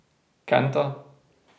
Kenta.